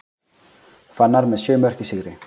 Fannar með sjö mörk í sigri